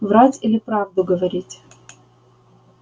врать или правду говорить